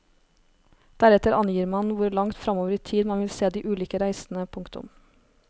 Deretter angir man hvor langt fremover i tid man vil se de ulike reisene. punktum